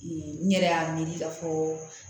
n yɛrɛ y'a miiri k'a fɔ